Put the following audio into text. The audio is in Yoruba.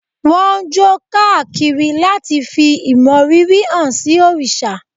Wọ́n ń jó káàkiri láti fí ìmọrírì hán sí òrìṣà.